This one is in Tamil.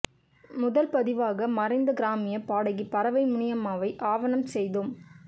முதல் பதிவாக மறைந்த கிராமிய பாடகி பரவை முனியம்மாவை ஆவணம் செய்தோம்